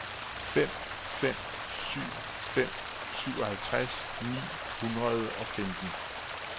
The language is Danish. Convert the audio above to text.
fem fem syv fem syvoghalvtreds ni hundrede og femten